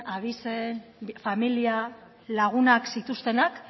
abizen familia lagunak zituztenak